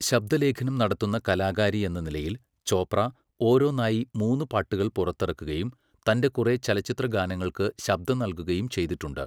ശബ്ദലേഖനം നടത്തുന്ന കലാകാരിയെന്ന നിലയിൽ ചോപ്ര ഓരോന്നായി മൂന്നുപാട്ടുകൾ പുറത്തിറക്കുകയും തൻ്റെ കുറെ ചലച്ചിത്രഗാനങ്ങൾക്ക് ശബ്ദം നൽകുകയും ചെയ്തിട്ടുണ്ട്.